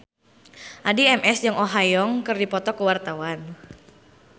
Addie MS jeung Oh Ha Young keur dipoto ku wartawan